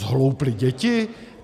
Zhlouply děti?